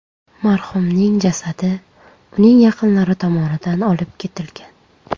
Marhumning jasadi uning yaqinlari tomonidan olib ketilgan.